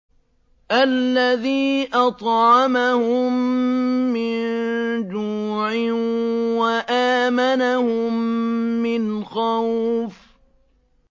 الَّذِي أَطْعَمَهُم مِّن جُوعٍ وَآمَنَهُم مِّنْ خَوْفٍ